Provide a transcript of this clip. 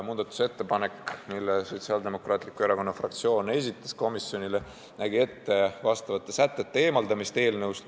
Muudatusettepanek, mille Sotsiaaldemokraatliku Erakonna fraktsioon komisjonile esitas, nägi ette vastavate sätete eemaldamise eelnõust.